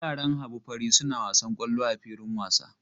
Yaran Habu fari suna wasan kwallo a filin wasa.